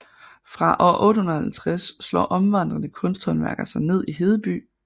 Fra år 850 slår omvandrende kunsthåndværkere sig ned i Hedeby